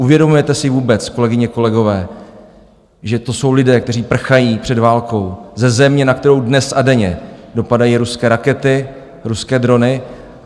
Uvědomujete si vůbec, kolegyně, kolegové, že to jsou lidé, kteří prchají před válkou ze země, na kterou dnes a denně dopadají ruské rakety, ruské drony?